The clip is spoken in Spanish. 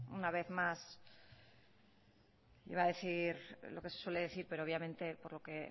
una vez más iba a decir lo que se suele decir pero obviamente por lo que